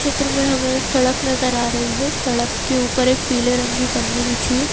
चित्र में हमें एक सड़क नजर आ रही है सड़क के ऊपर एक पीले रंग की पन्नी बिछी है।